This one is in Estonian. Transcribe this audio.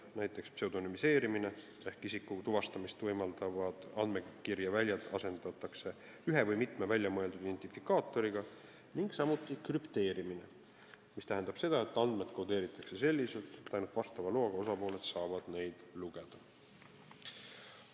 Näiteks, pseudonüümistamine ehk isiku tuvastamist võimaldavad andmekirjaväljad asendatakse ühe või mitme väljamõeldud identifikaatoriga, või krüpteerimine, mis tähendab seda, et andmed kodeeritakse selliselt, et ainult vastava loaga osapooled saavad neid lugeda.